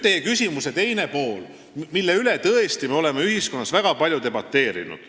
Teie küsimuse teine pool oli selle kohta, mille üle me oleme ühiskonnas väga palju debateerinud.